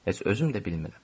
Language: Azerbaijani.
Heç özüm də bilmirəm.